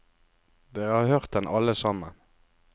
Dere har hørt den alle sammen.